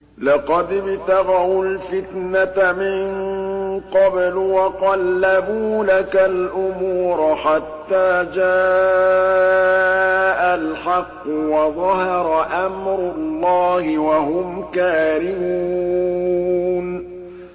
لَقَدِ ابْتَغَوُا الْفِتْنَةَ مِن قَبْلُ وَقَلَّبُوا لَكَ الْأُمُورَ حَتَّىٰ جَاءَ الْحَقُّ وَظَهَرَ أَمْرُ اللَّهِ وَهُمْ كَارِهُونَ